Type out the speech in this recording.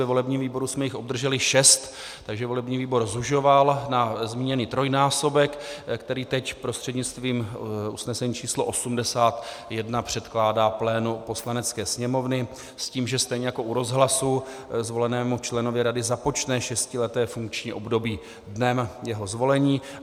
Ve volebním výboru jsme jich obdrželi šest, takže volební výboru zužoval na zmíněný trojnásobek, který teď prostřednictvím usnesení číslo 81 předkládá plénu Poslanecké sněmovny s tím, že stejně jako u rozhlasu zvolenému členovi rady započne šestileté funkční období dnem jeho zvolení.